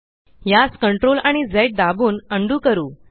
यास CTRLआणि झ दाबून उंडो करू